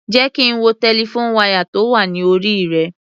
Jẹ́ kí n wo telephone wire tó wà ní orí rẹ.